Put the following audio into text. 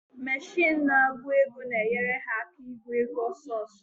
Mechin na-agụ ego na-enyere ha aka ị gụ ego ọsọsọ.